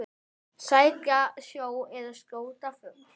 Sækja sjó eða skjóta fugl.